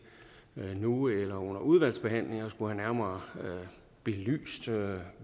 nu eller under udvalgsbehandlingen at skulle have nærmere belyst hvad